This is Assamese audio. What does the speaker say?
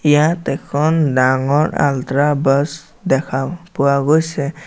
ইয়াত এখন ডাঙৰ আল্ট্ৰা বাছ দেখাও পোৱা গৈছে।